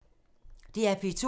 DR P2